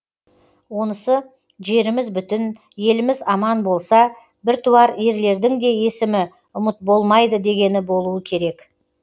онысы жеріміз бүтін еліміз аман болса біртуар ерлердің де есімі ұмыт болмайды дегені болуы керек